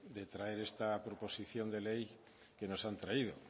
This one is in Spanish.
de traer esta proposición de ley que nos han traído